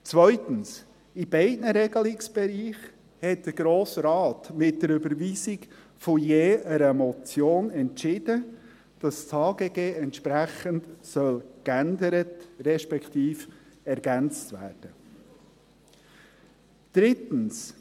Zweitens: In beiden Regelungsbereichen hat der Grosse Rat mit der Überweisung von je einer Motion entschieden, dass das HGG entsprechend ergänzt, respektive geändert werden soll.